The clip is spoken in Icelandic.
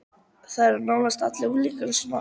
Það eru nánast allir unglingar svona.